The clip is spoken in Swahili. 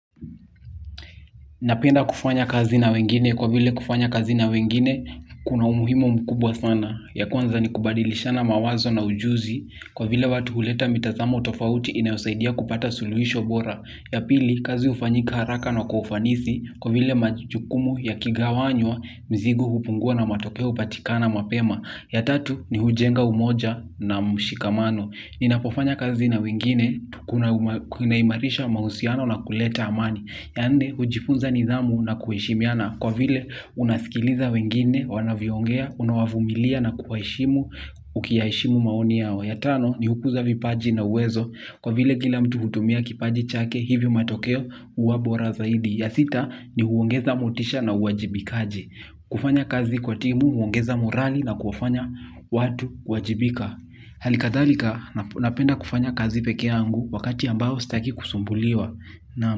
Napenda kufanya kazi na wengine kwa vile kufanya kazi na wengine kuna umuhimu mkubwa sana. Ya kwanza ni kubadilishana mawazo na ujuzi kwa vile watu uleta mitazamo tofauti inayosaidia kupata suluhisho bora. Ya pili kazi ufanyika haraka na kwa ufanisi kwa vile majukumu yakigawanywa mzigo hupungua na matokeo upatikana mapema. Ya tatu ni hujenga umoja na mshikamano. Ninapofanya kazi na wengine kunaimarisha mahusiano na kuleta amani. Ya nne, ujifunza nidhamu na kuheshimiana. Kwa vile, unasikiliza wengine, wanavyoongea, unawavumilia na kuwaeshimu, ukiyaheshimu maoni yao. Ya tano, ni ukuza vipaji na uwezo. Kwa vile, kila mtu hutumia kipaji chake, hivyo matokeo uwa bora zaidi. Ya sita, ni huongeza motisha na uwajibikaji. Kufanya kazi kwa timu, huongeza morali na kuwafanya watu kuwajibika. Hali kadhalika, napenda kufanya kazi pekee yangu wakati ambao sitaki kusumbuliwa.